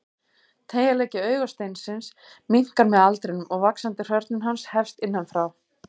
Teygjanleiki augasteinsins minnkar með aldrinum og vaxandi hrörnun hans hefst innan frá.